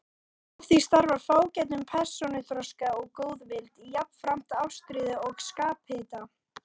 Af því stafar fágætum persónuþroska og góðvild, jafnframt ástríðu og skaphita.